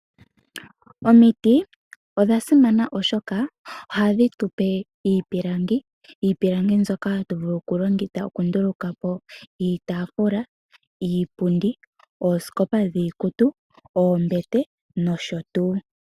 Omiti odha simana, oshoka ohadhi tupe iipilangi, iipilangi mbyoka hatu vulu oku ndulukapo iitaafula, iipundi, ooskopa dhi ikutu, oombete nosho tuu.